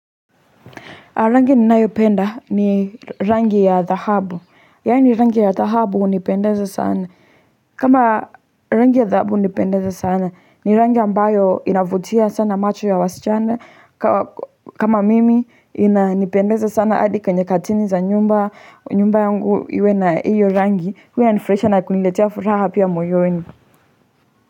Rangi ninayopenda ni rangi ya dhahabu, yaani rangi ya dhahabu hunipendeza sana, kama rangi ya dhahabu unipendeza sana, ni rangi ambayo inavutia sana macho ya wasichana. Kama mimi inipendeza sana adi kwenye katini za nyumba, nyumba yangu iwe na iyo rangi, huya nifresha na kuniletea furaha pia moyoni.